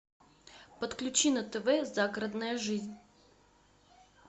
подключи на тв загородная жизнь